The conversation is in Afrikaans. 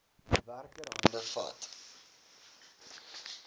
werker hande vat